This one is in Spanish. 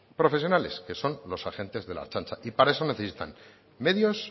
profesionales que son los agentes de la ertzaintza y para eso necesitan medios